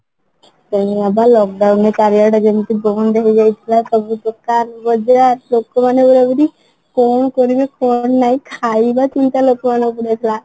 ସେଇଆ ପା lock down ରେ ଚାରି ଆଡେ ଯେମିତି ବନ୍ଦ ହେଇଯାଇଥିଲା ସବୁ ଦୋକାନ ବଜ଼ାର ଲୋକ ମାନେ ପୁରା ପୁରି କଣ କରିବେ କଣ ନାହିଁ ଖାଇବା ଚିନ୍ତା ଲୋକ ମାନଙ୍କୁ ଲାଗିଥିଲା